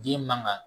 Den man ka